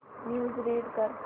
news read कर